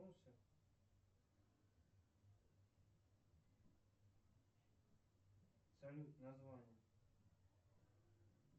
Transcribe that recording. салют название